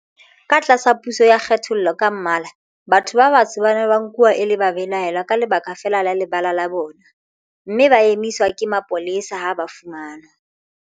Ka tlasa puso ya kgethollo ka mmala, batho ba batsho ba ne ba nkuwa e le babelaellwa ka lebaka feela la lebala la bona, mme ba emiswa ke mapolesa ha ba fumanwa